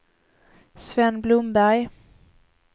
Sven Blomberg